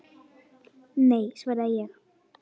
Nei, svaraði ég.